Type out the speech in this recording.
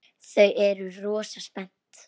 Þau eru rosa spennt.